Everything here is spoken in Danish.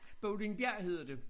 Bøvlingbjerg hedder det